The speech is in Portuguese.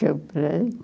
Comprei.